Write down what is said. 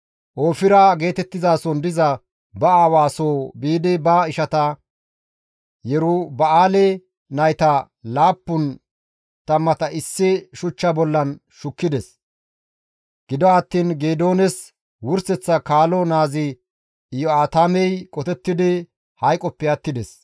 Oofira geetettizason diza ba aawa soo biidi ba ishata, Yeruba7aale nayta laappun tammata issi shuchcha bollan shukkides; gido attiin Geedoones wurseththa kaalo naazi Iyo7aatamey qotettidi hayqoppe attides.